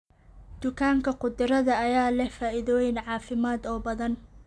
Dufanka khudradda ayaa leh faa'iidooyin caafimaad oo badan.